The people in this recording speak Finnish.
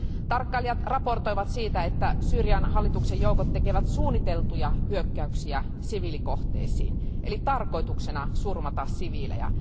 Tarkkailijat raportoivat siitä, että Syyrian hallituksen joukot tekevät suunniteltuja hyökkäyksiä siviilikohteisiin eli tarkoituksena on surmata siviilejä.